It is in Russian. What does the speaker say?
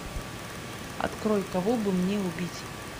открой кого бы мне убить